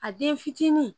A den fitinin